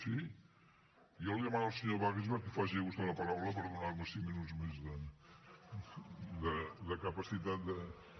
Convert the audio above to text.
sí jo li demano al senyor wagensberg que faci ús de la paraula per donar me cinc minuts més de capacitat de